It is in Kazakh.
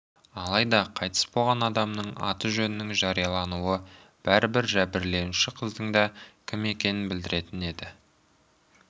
алайда қайтыс болған адамның аты-жөнінің жариялануы бәрібір жәбірленуші қыздың да кім екенін білдіретін еді